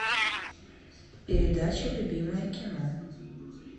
передача любимое кино